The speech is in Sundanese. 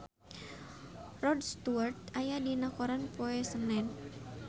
Rod Stewart aya dina koran poe Senen